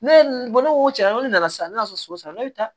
Ne ye ne ko cɛn yɛrɛ la ko ne nana sisan ne y'a sɔrɔ so san ne bɛ taa